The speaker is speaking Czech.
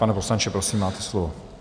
Pane poslanče, prosím, máte slovo.